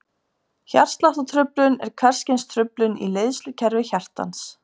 Hjartsláttartruflun er hvers kyns truflun í leiðslukerfi hjartans.